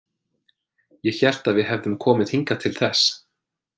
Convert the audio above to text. Ég hélt að við hefðum komið hingað til þess.